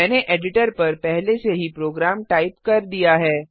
मैंने एडिटर पर पहले से ही प्रोग्राम टाइप कर दिया है